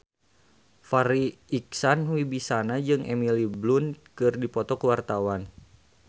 Farri Icksan Wibisana jeung Emily Blunt keur dipoto ku wartawan